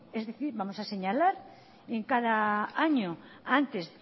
es decir vamos a señalar en cada año antes